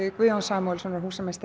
Guðjóns Samúelssonar húsameistara